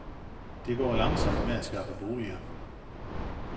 Det går langsomt med at skaffe boliger.